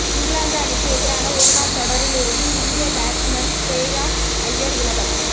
இங்கிலாந்து அணிக்கு எதிரான ஒருநாள் தொடரிலிருந்து இந்திய பேட்ஸ்மேன் ஷ்ரேயாஸ் ஐயர் விலகல்